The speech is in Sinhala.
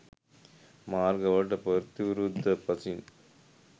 මාර්ග වලට ප්‍රතිවිරුද්ධ පසින්